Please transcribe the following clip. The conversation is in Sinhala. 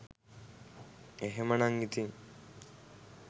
එහෙමනම් ඉතිං